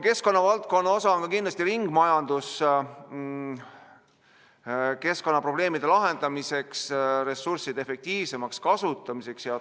Keskkonnavaldkonna osa on kindlasti ringmajandus keskkonnaprobleemide lahendamiseks, ressursside efektiivsemaks kasutamiseks ja ...